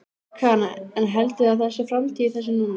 Karen: En heldurðu að það sé framtíð í þessu núna?